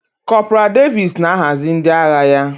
Kọporal Davis na-ahazi ndị agha ya.